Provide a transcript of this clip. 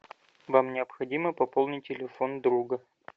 вам необходимо пополнить телефон друга